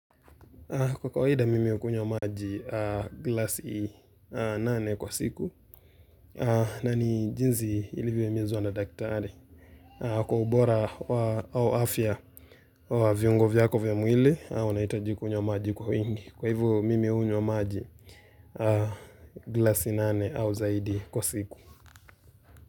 Kwa kawaida mimi hukunywa maji glasi nane kwa siku na ni jinzi ilivyo himizwa na daktari Kwa ubora wa afya wa viungo vyako vya mwili unahitaji kunywa maji kwa wingi Kwa hivo mimi hunywa maji glasi nane au zaidi kwa siku.